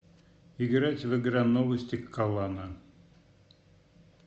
играть в игра новости калана